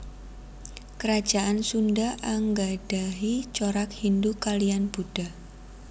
Kerajaan Sunda anggadhahi corak Hindhu kaliyan Buddha